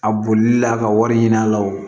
A bolili la ka wari ɲini a la o